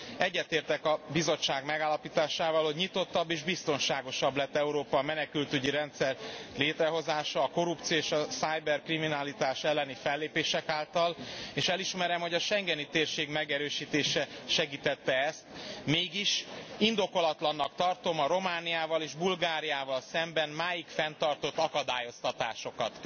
Egyetértek a Bizottság megállapításával, hogy nyitottabb és biztonságosabb lett Európa a menekültügyi rendszer létrehozása, a korrupció és a kiberbűnözés elleni fellépések által, és elismerem, hogy a schengeni térség megerősítése segítette ezt, mégis indokolatlannak tartom a Romániával és Bulgáriával szemben máig fenntartott akadályoztatásokat.